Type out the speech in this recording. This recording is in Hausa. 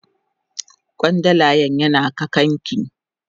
Kwandalan yana kakan ki.